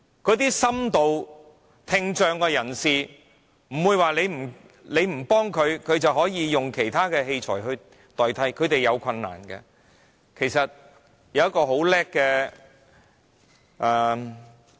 一些深度聽障人士不會因為你不幫他們，便自然有其他器材代替，他們仍然要面對困難。